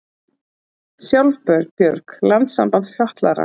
Sjálfbjörg, landssamband fatlaðra